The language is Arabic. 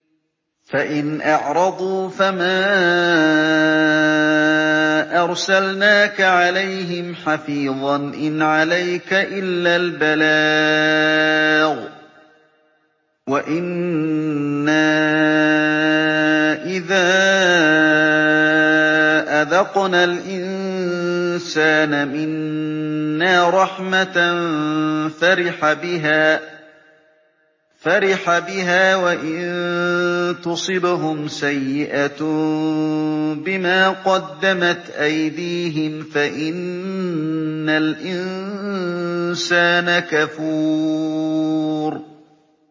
فَإِنْ أَعْرَضُوا فَمَا أَرْسَلْنَاكَ عَلَيْهِمْ حَفِيظًا ۖ إِنْ عَلَيْكَ إِلَّا الْبَلَاغُ ۗ وَإِنَّا إِذَا أَذَقْنَا الْإِنسَانَ مِنَّا رَحْمَةً فَرِحَ بِهَا ۖ وَإِن تُصِبْهُمْ سَيِّئَةٌ بِمَا قَدَّمَتْ أَيْدِيهِمْ فَإِنَّ الْإِنسَانَ كَفُورٌ